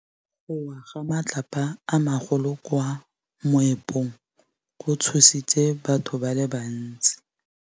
Go wa ga matlapa a magolo ko moepong go tshositse batho ba le bantsi.